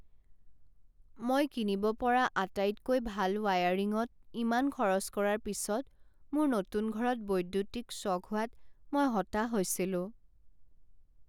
মই কিনিব পৰা আটাইতকৈ ভাল ৱায়াৰিংত ইমান খৰচ কৰাৰ পিছত, মোৰ নতুন ঘৰত বৈদ্যুতিক শ্বক হোৱাত মই হতাশ হৈছিলো।